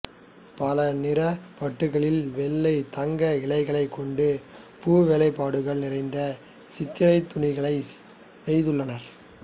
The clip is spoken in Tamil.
பலநிறப் பட்டுக்களில் வெள்ளி தங்க இழைகளைக் கொண்டு பூவேலைப்பாடுகள் நிறைந்த சித்திரத்துணிகளை நெய்துள்ளனர்